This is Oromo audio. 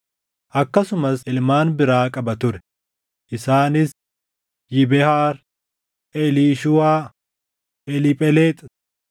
Akkasumas ilmaan biraa qaba ture; isaanis: Yibehaar, Eliishuuwaa, Eliiphelexi,